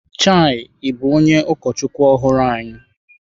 Chei, ị bụ onye ụkọchukwu ọhụrụ anyị?